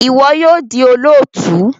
Iwọ yoo di olootu!